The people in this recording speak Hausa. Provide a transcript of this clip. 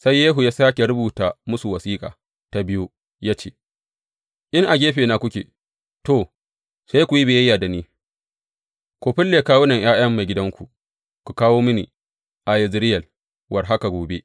Sai Yehu ya sāke rubuta musu wasiƙa ta biyu, ya ce, In a gefena kuke, to, sai ku yi biyayya da ni, ku fille kawunan ’ya’yan maigidanku, ku kawo mini a Yezireyel war haka gobe.